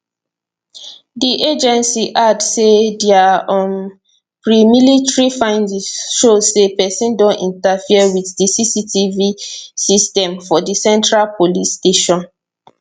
di agency add say dia um premilitary findings show say pesin don interfere wit di cctv systems for di central police station